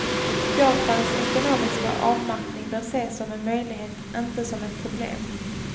Japans ekonomiska avmattning bör ses som en möjlighet, inte som ett problem.